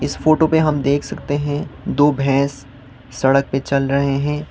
इस फोटो पे हम देख सकते हैं दो भैंस सड़क पे चल रहे हैं।